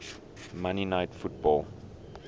monday night football